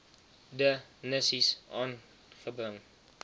de nisies aangebring